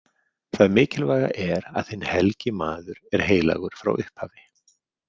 Það mikilvæga er að hinn helgi maður er heilagur frá upphafi.